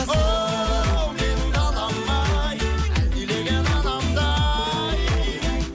оу менің далам ай әлдилеген анамдай